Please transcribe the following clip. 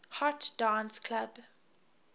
hot dance club